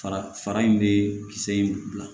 Fara fara in be kisɛ in bila